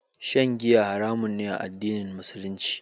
Shan giya haram ne a addinin Musulunci.